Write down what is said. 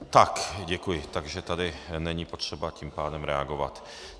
Tak děkuji, takže tady není potřeba tím pádem reagovat.